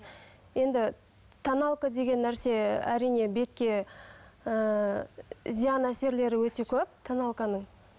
енді тоналка деген нәрсе әрине бетке ыыы зиян әсерлері өте көп тоналканың